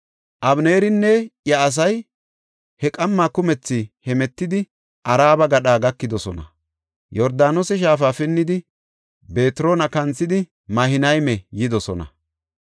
Abeneerinne iya asay he qamma kumethi hemetidi Araba gadha gakidosona. Yordaanose shaafa pinnidi, Betroona kanthidi Mahinayme yidosona.